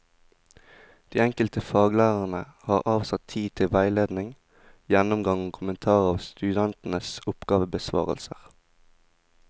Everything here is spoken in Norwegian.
De enkelte faglærerne har avsatt tid til veiledning, gjennomgang og kommentar av studentenes oppgavebesvarelser.